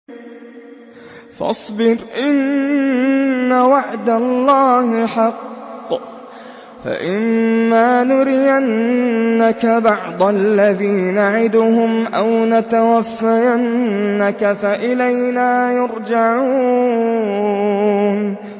فَاصْبِرْ إِنَّ وَعْدَ اللَّهِ حَقٌّ ۚ فَإِمَّا نُرِيَنَّكَ بَعْضَ الَّذِي نَعِدُهُمْ أَوْ نَتَوَفَّيَنَّكَ فَإِلَيْنَا يُرْجَعُونَ